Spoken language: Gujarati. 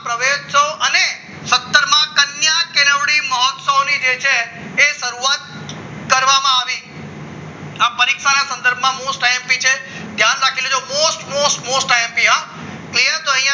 પ્રવેશશો અને સત્તર માં કન્યા કેળવણી મહોત્સવની જે છે તે શરૂઆત કરવામાં આવી હતી આ પરીક્ષાના સંદર્ભમાં મોસ્ટ આઈએમપી છે ધ્યાન રાખી લેજો મોસ્ટ મોસ્ટ આઈએમપી ક્લિયર